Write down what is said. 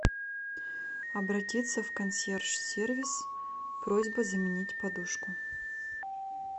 обратиться в консьерж сервис с просьбой заменить подушку